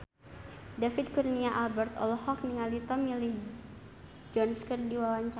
David Kurnia Albert olohok ningali Tommy Lee Jones keur diwawancara